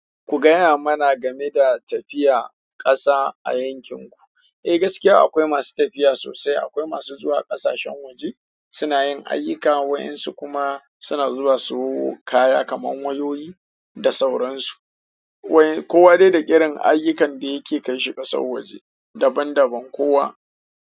Ku gaya mana game da tafiya ƙasa a yankin ku. Eh gaskiya akwai masu tafiya sosai, akwai masu zuwa ƙasashen waje suna yin ayyuka waƴansu kuma suna zuwa siyo kaya kaman wayoyi da sauransu. Kowa dai da irin ayukan da yake kai shi kasan waje daban daban kowa.